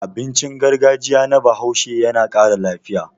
Abincin gargajiya na Bahaushe yana ƙara lafiya.